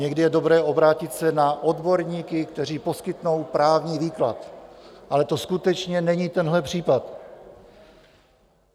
Někdy je dobré obrátit se na odborníky, kteří poskytnou právní výklad, ale to skutečně není tenhle případ.